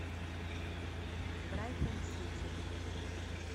брайтон сити